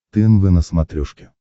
тнв на смотрешке